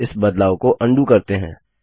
इस बदलाव को अन्डू करते हैं